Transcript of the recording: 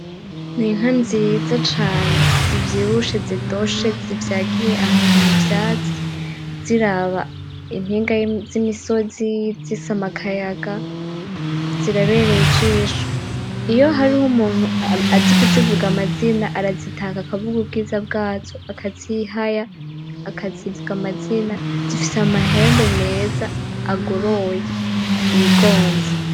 N'Inka nziza cane zivyibushe zidoshe zivyagiye ahantu mu vyatsi ziraba impinga z'imisozi zisama akayaga zirabereye ijisho, iyo hariho umuntu azi kuzivuga amazina arazitaka akavuga ubwiza bwazo akazihaya akazivuga amazina, zifise Amahembe meza agoroye yigonze.